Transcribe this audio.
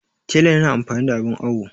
tela yana amfani da abin awo